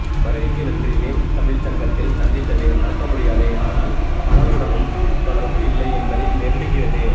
வருகைக்கு நன்றி மேம் தமிழ்ச் சங்கத்தில் சந்தித்தது மறக்க முடியாது ஆனால் பலருடனும் தொடர்பு இல்லை என்பதே நெருடுகிறது